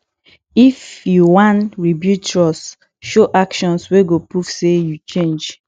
if yu wan rebuild trust show actions wey go prove say yu change